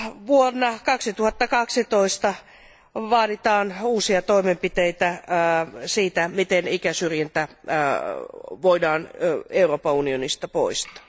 Vuonna 2012 vaaditaan uusia toimenpiteitä siitä, miten ikäsyrjintä voidaan Euroopan unionista poistaa.